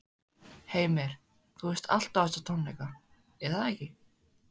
Heimir, þú veist allt um þessa tónleika, er það ekki?